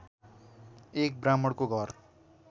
एक ब्राह्मणको घर